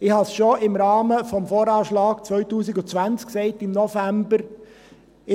Ich habe es schon im Rahmen des VA 2020 im November gesagt: